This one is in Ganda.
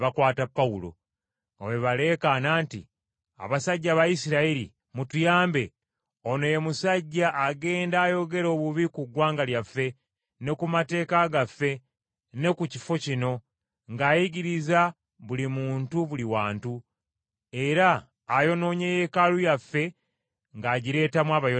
nga bwe baleekaana nti, “Abasajja Abayisirayiri! Mutuyambe! Ono ye musajja agenda ayogera obubi ku ggwanga lyaffe ne ku mateeka gaffe ne ku kifo kino, ng’ayigiriza buli muntu buli wantu. Era ayonoonye Yeekaalu yaffe ng’agireetamu Abayonaani.”